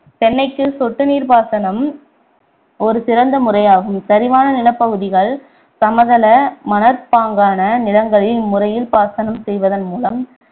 தென்னைக்கு சொட்டு நீர்ப் பாசனம் ஒரு சிறந்த முறையாகும் சரிவான நிலப்பகுதிகள் சமதள மணற்பாங்கான நிலங்களில் இம்முறையில் பாசனம் செய்வதன் மூலம்